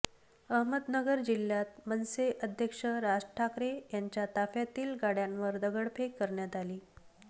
अहमदनगर जिल्ह्यात मनसे अध्यक्ष राज ठाकरे यांच्या ताफ्यातील गाड्यांवर दगडफेक करण्यात आली